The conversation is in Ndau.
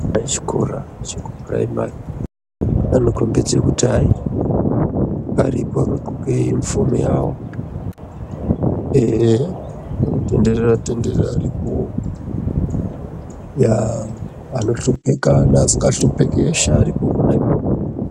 Vechikora chekupiraimari vanokombidza kuti hai vakagonka unifomu yawo Ehe kunotonderera tonderera varipowo ya vanoshupika nevasinga shupiki varipo pona ipapo.